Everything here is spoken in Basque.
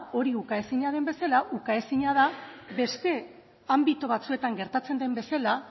hori ukaezina den bezala ukaezina da beste anbito batzuetan gertatzen den bezala